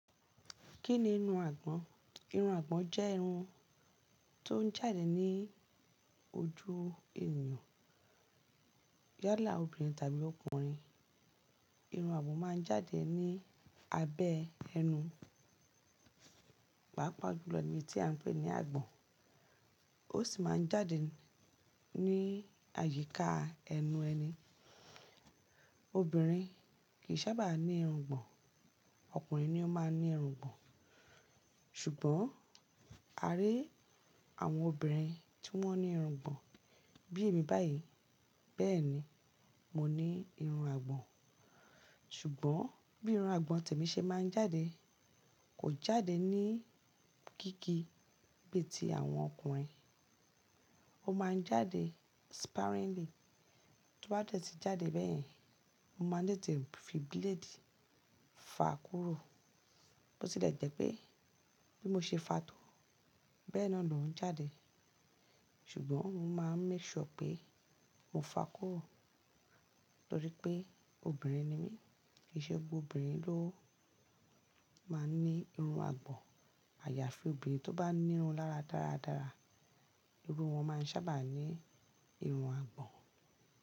Kí ni irun àgbọ̀n? Irun àgbọ̀n jẹ́ irun tó ń jáde ní ojú ènìyàn. Yálà obìnrin tàbí ọkùnrin, irun máa ń jáde ní abẹ́ ẹnu, pàápàá juló ni ibi tí à ń pè ní àgbọ̀n. Ó sì máa ń jáde ní àyíká ẹnu ẹni. Obìnrin kì í sábà ní irungbọ̀n, ọkùnrin ni ó máa ń ní irungbọ̀n. Ṣùgbọ́n a rí àwọn obìnrin tí wọ́n ní irun àgbọ̀n bí èmi báyìí. Bẹ́ẹ̀ ni, mo ní irun àgbọ̀n. Ṣùgbọ́n bí irun àgbọ̀n tèmi ṣe máa ń jáde kò jáde ní gígí bí i ti àwọn ọkùnrin. Ó máa ń jáde sparingly. Tó bá dẹ̀ tí jáde bẹ́ẹ̀, mo máa n tete fí blade fa kúrò. Bo ti lè jẹ́ pé bí mo ṣe fa tò bẹ́ẹ̀ náà ló ń jáde. Ṣùgbọ́n mo máa ń make sure pé mo fa kúrò torí pé obìnrin ni mí. Kì í ṣe gbogbo obìnrin ló máa ń ní irun àgbọ̀n. Àyàfi obìnrin tó bá ní irun lára dáradára iru won máa ń sábà ní irun àgbọ̀n.